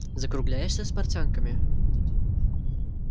закругляешься с портянками